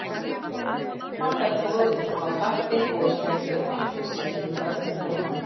Var þar boðið uppá kaffi, gosdrykki og bakkelsi, og börnin velkomin.